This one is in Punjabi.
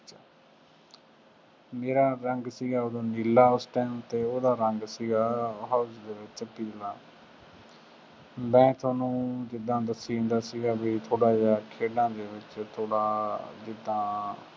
ਮੇਰਾ ਰੰਗ ਸੀਗਾ ਉਦੋਂ ਨੀਲਾ ਉਸ time ਅਤੇ ਉਹਦਾ ਰੰਗ ਸੀਗਾ house ਦੇ ਵਿੱਚ ਪੀਲਾ, ਮੈਂ ਤੁਹਾਨੂੰ ਜਿਦਾਂ ਦੱਸੀ ਜਾਂਦਾ ਸੀਗਾ ਬਈ ਥੋੜ੍ਹਾ ਜਿਹਾ ਖੇਡਾਂ ਦੇ ਵਿੱਚ ਥੋੜ੍ਹਾ ਜਿਦਾਂ